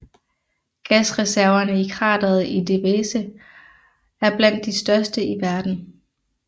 Gasreservene i krateret i Derveze er blandt de største i verden